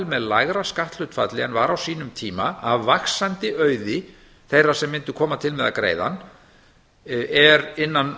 með lægra skatthlutfalli en var á sínum tíma af vaxandi auði þeirra sem mundu koma til með að greiða hann er innan